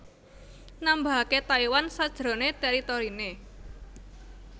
nambahake Taiwan sajrone teritorine